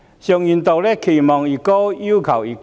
常言道："期望越高，要求越高。